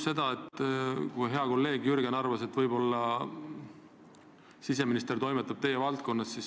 Hea kolleeg Jürgen arvas, et siseminister võib-olla toimetab teie valdkonnas.